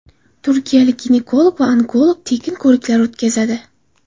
Turkiyalik ginekolog va onkolog tekin ko‘riklar o‘tkazadi.